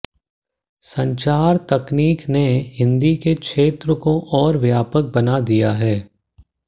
संचार तकनीक ने हिंदी के क्षेत्र को और व्यापक बना दिया है